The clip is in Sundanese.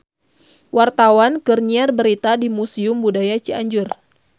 Wartawan keur nyiar berita di Museum Budaya Cianjur